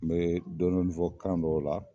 N bɛ dɔ dɔni fɔ kan dɔw la